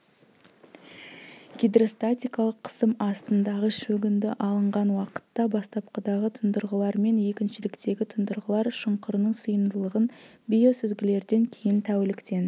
гидростатикалық қысым астындағы шөгінді алынған уақытта бастапқыдағы тұндырғылар мен екіншіліктегі тұндырғылар шұңқырының сыйымдылығын биосүзгілерден кейін тәуліктен